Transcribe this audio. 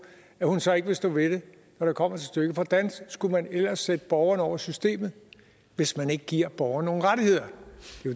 at hun så ikke vil stå ved det når det kommer til stykket hvordan skulle man ellers sætte borgeren over systemet hvis man ikke giver borgeren nogle rettigheder